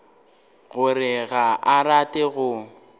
gore ga a rate go